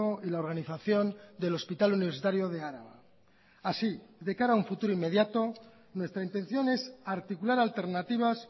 y la organización del hospital universitario de araba así de cara a un futuro inmediato nuestra intención es articular alternativas